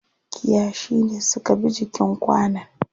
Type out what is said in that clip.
Kiyashi ne suka bi jikin kwanon.